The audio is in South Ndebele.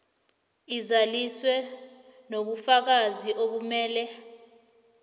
izaliswe nobufakazi obumele